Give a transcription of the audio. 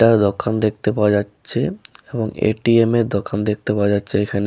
দোকান দেখতে পাওয়া যাচ্ছে ।এবং এ.টি.এম এর দোকান দেখতে পাওয়া যাচ্ছে এখানে।